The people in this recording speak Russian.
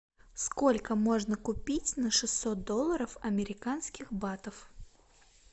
сколько можно купить на шестьсот долларов американских батов